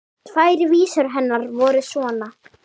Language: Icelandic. Tvær vísur hennar voru svona